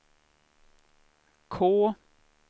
K